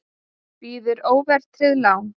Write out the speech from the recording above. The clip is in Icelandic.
Býður óverðtryggð lán